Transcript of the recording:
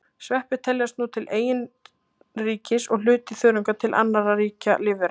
Sveppir teljast nú til eigin ríkis og hluti þörunga til annarra ríkja lífvera.